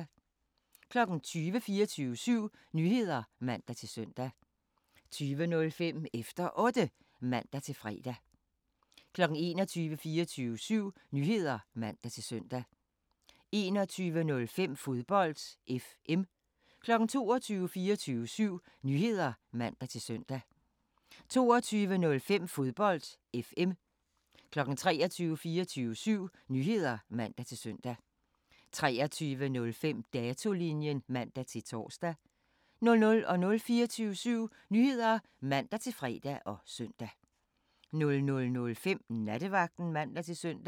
20:00: 24syv Nyheder (man-søn) 20:05: Efter Otte (man-fre) 21:00: 24syv Nyheder (man-søn) 21:05: Fodbold FM 22:00: 24syv Nyheder (man-søn) 22:05: Fodbold FM 23:00: 24syv Nyheder (man-søn) 23:05: Datolinjen (man-tor) 00:00: 24syv Nyheder (man-fre og søn) 00:05: Nattevagten (man-søn)